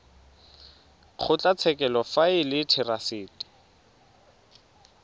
kgotlatshekelo fa e le therasete